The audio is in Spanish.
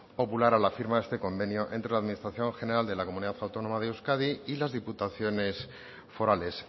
popular a la firma de este convenio entre la administración general de la comunidad autónoma de euskadi y las diputaciones forales